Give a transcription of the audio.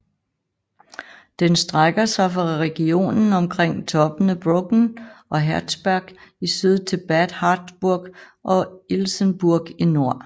Den strækker sig fra regionen omkring toppene Brocken og Herzberg i syd til Bad Harzburg og Ilsenburg i nord